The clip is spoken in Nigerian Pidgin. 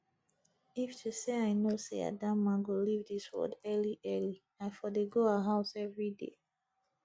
if to say i know say adamma go leave dis world early early i for dey go her house everyday